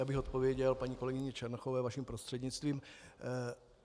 Já bych odpověděl paní kolegyni Černochové vaším prostřednictvím.